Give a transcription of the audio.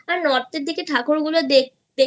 আর North এর দিকে ঠাকুর গুলো দেখতে